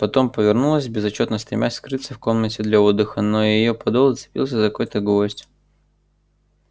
потом повернулась безотчётно стремясь скрыться в комнаты для отдыха но её подол зацепился за какой-то гвоздь